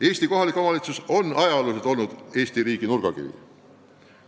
Eesti kohalik omavalitsus on ajalooliselt olnud Eesti riigi nurgakivi.